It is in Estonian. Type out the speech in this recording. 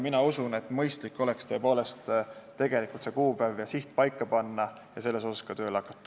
Mina usun, et mõistlik oleks tõepoolest see kuupäev ja siht paika panna ning selles suunas ka tööle hakata.